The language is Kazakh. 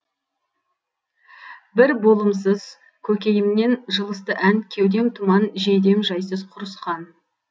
бір болымсыз көкейімнен жылысты ән кеудем тұман жейдем жайсыз құрысқан